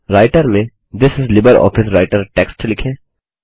writer में this इस LibreOffice writer text लिखें